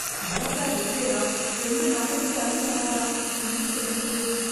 Motor ரிப்பேராம், ரெண்டு நாளைக்கு தண்ணி வராதாம்... என்ன செய்றது?